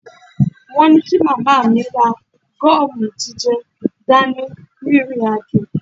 Wọ́n ní kí màmá mi ra gọ́ọ̀mù jíjẹ dání rìnrìn àjò